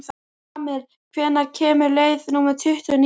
Amil, hvenær kemur leið númer tuttugu og níu?